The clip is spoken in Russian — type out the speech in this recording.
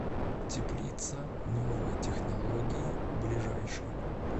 теплица новые технологии ближайший